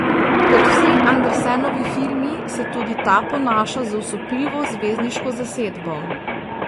Kot vsi Andersonovi filmi se tudi ta ponaša z osupljivo zvezdniško zasedbo.